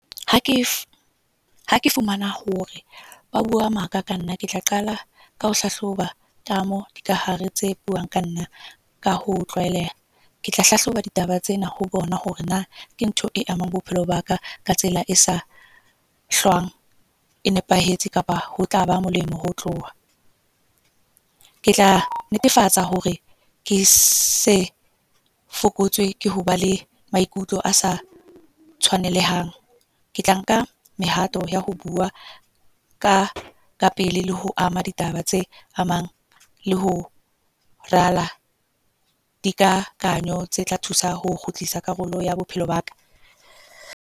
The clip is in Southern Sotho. Ha ke, ha ke fumana hore ba bua maka ka nna. Ke tla qala ka ho hlahloba ka moo dikahare tse buang ka nna, ka ho tlwaeleha. Ke tla hlahloba ditaba tsena ho bona hore na ke ntho e amang bophelo baka ka tsela e sa hlwang e nepahetse. Kapa ho tlaba molemo ho tloha. Ke tla netefatsa hore ke se fokotswe ke hoba le maikutlo a sa tshwanelahang. Ke tla nka, mehato ya ho bua ka ka pele. Le ho ama ditaba tse amang. Le ho rala dikgakanyo tse tla thusa ho kgutlisa karolo ya bophelo baka.